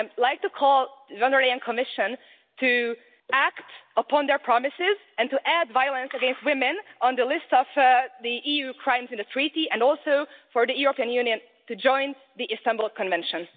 I'd like to call on the Commission to act upon their promises and to add violence against women to the list of the EU crimes in the Treaty and also for the European Union to join the Istanbul Convention.